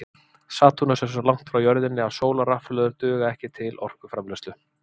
Satúrnus er svo langt frá jörðinni að sólarrafhlöður duga ekki til orkuframleiðslu.